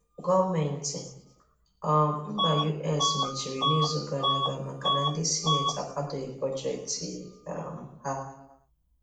Gọọmenti um mba US mba US mechiri n’izu gara ga maka na ndị sịneti akwàdọghị bọjetị um ha.